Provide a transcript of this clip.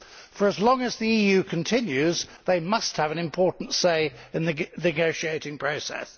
For as long as the EU continues they must have an important say in the negotiating process.